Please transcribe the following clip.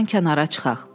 Yoldan kənara çıxaq.